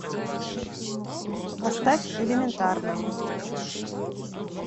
поставь элементарно